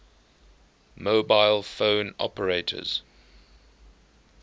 mobile phone operators